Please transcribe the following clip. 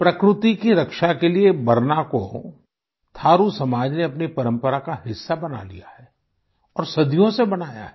प्रकृति की रक्षा के लिये बरना को थारु समाज ने अपनी परंपरा का हिस्सा बना लिया है और सदियों से बनाया है